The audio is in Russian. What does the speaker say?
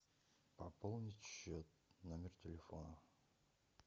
пополнить счет номер телефона